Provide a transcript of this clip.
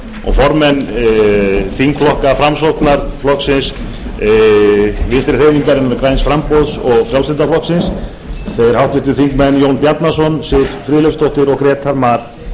og formenn þingflokka framsóknarflokksins vinstri hreyfingarinnar græns framboðs og frjálslynda flokksins jón bjarnason siv friðleifsdóttir og grétar mar